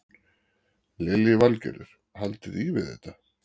Lillý Valgerður: Haldiði í við þetta?